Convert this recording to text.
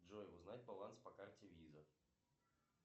джой узнать баланс по карте виза